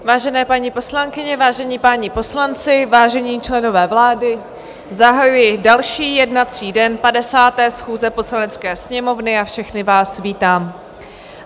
Vážené paní poslankyně, vážení páni poslanci, vážení členové vlády, zahajuji další jednací den 50. schůze Poslanecké sněmovny a všechny vás vítám.